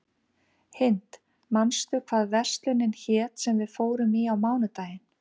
Hind, manstu hvað verslunin hét sem við fórum í á mánudaginn?